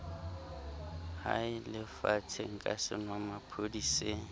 haele fatsheng ka senwamaphodi se